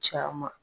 Caman